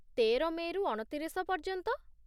ତେର ମେ'ରୁ ଅଣତିରିଶ ପର୍ଯ୍ୟନ୍ତ।